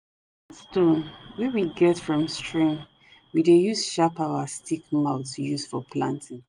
na smooth stone wey we get from stream we dey use sharp our stick mouth use for planting